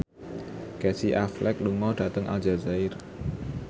Casey Affleck lunga dhateng Aljazair